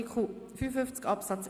Wir kommen zu Artikel 55 Absatz